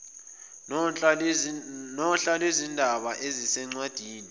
nohla lwezindaba ezisencwadini